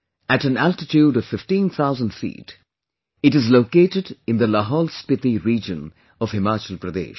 At an altitude of 15,000 feet, it is located in the LahaulSpiti region of Himachal Pradesh